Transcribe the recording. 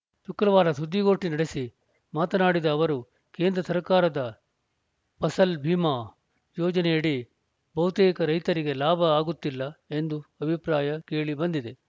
ಶುಕ್ರವಾರ ಸುದ್ದಿಗೋಷ್ಠಿ ನಡೆಸಿ ಮಾತನಾಡಿದ ಅವರು ಕೇಂದ್ರ ಸರ್ಕಾರದ ಫಸಲ್‌ ಭಿಮಾ ಯೋಜನೆಯಡಿ ಬಹುತೇಕ ರೈತರಿಗೆ ಲಾಭ ಆಗುತ್ತಿಲ್ಲ ಎಂದು ಅಭಿಪ್ರಾಯ ಕೇಳಿ ಬಂದಿದೆ